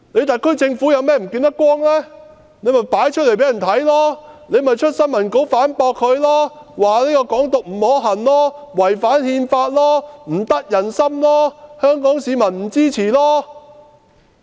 特區政府有何看法，可以公布出來，可以發新聞稿反駁說"港獨"不可行，違反《憲法》，不得人心，香港市民不支持。